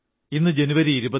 ഇന്ന് ജനുവരി 26 ആണ്